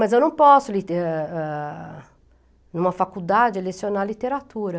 Mas eu não posso lite, em uma faculdade, lecionar literatura.